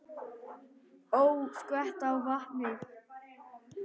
Ó, skvetta á vatni.